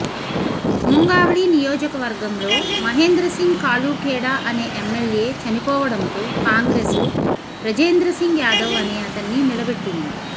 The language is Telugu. ముంగావ్లీ నియోజకవర్గంలో మహేంద్ర సింగ్ కాలూఖేడా అనే ఎమ్మెల్యే చనిపోవడంతో కాంగ్రెసు బ్రజేంద్ర సింగ్ యాదవ్ అనే అతన్ని నిలబెట్టింది